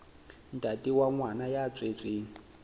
ntate wa ngwana ya tswetsweng